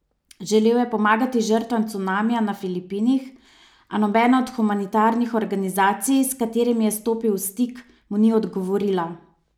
Želel je pomagati žrtvam cunamija na Filipinih, a nobena od humanitarnih organizacij, s katerimi je stopil v stik, mu ni odgovorila.